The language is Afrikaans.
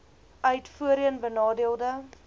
uit voorheen benadeelde